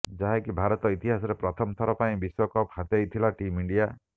ଯାହାକି ଭାରତ ଇତିହାସରେ ପ୍ରଥମ ଥର ପାଇଁ ବିଶ୍ୱକପ୍ ହାତେଇଥିଲା ଟିମ୍ ଇଣ୍ଡିଆ